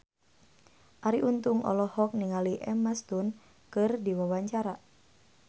Arie Untung olohok ningali Emma Stone keur diwawancara